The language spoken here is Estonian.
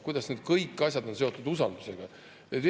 Kuidas kõik need asjad on seotud usaldusega?